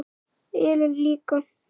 Ellen líka.